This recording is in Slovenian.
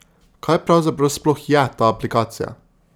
Kaj pravzaprav sploh je ta aplikacija?